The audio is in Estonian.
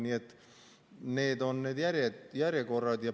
Nii et selline on järjekord.